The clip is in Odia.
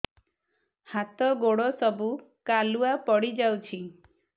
ହାତ ଗୋଡ ସବୁ କାଲୁଆ ପଡି ଯାଉଛି